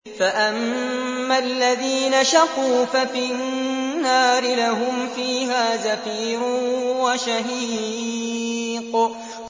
فَأَمَّا الَّذِينَ شَقُوا فَفِي النَّارِ لَهُمْ فِيهَا زَفِيرٌ وَشَهِيقٌ